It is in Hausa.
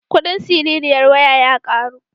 Kuɗin siririyar waya ya ƙaru.